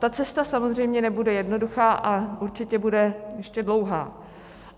Ta cesta samozřejmě nebude jednoduchá a určitě bude ještě dlouhá.